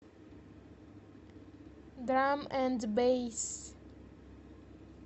драм энд бэйс